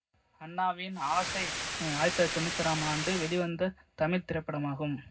அண்ணாவின் ஆசை ஆயிரத்தி தொள்ளாயிரத்தி அறுபத்தி ஆறாம் ஆண்டு வெளிவந்த தமிழ் திரைப்படமாகும்